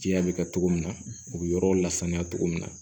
Jiya bɛ kɛ togo min na o be yɔrɔ la saniya togo min na